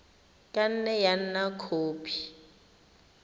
ka nne ya nna khopi